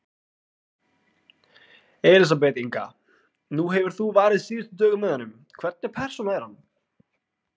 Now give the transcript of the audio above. Elísabet Inga: Nú hefur þú varið síðustu dögum með honum, hvernig persóna er hann?